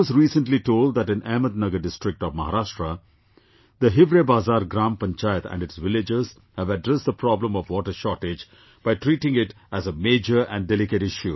I was recently told that in Ahmednagar district of Maharashtra, the Hivrebazaar Gram Panchayat and its villagers have addressed the problem of water shortage by treating it as a major and delicate issue